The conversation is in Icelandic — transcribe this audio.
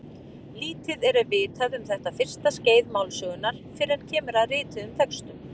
Lítið er vitað um þetta fyrsta skeið málsögunnar fyrr en kemur að rituðum textum.